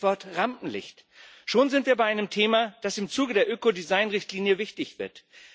Stichwort Rampenlicht schon sind wir bei einem Thema, das im Zuge der Ökodesign Richtlinie wichtig wird.